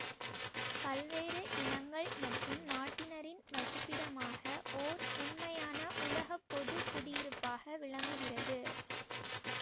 பல்வேறு இனங்கள் மற்றும் நாட்டினரின் வசிப்பிடமாக ஓர் உண்மையான உலகப்பொது குடியிருப்பாக விளங்குகிறது